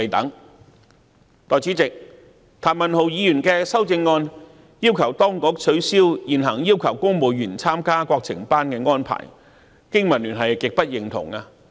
代理主席，譚文豪議員的修正案要求當局取消現行要求公務員參加國情班的安排，經民聯極不認同。